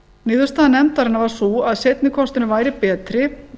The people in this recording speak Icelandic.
niðurstaða nefndarinnar var sú að seinni kosturinn væri betri